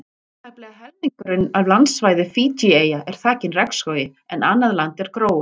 Tæplega helmingurinn af landsvæði Fídjieyja er þakinn regnskógi en annað land er gróið.